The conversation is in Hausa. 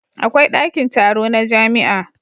Akwai dakin taro na jamia